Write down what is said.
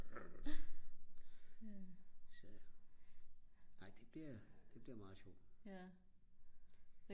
det bliver det bliver meget sjovt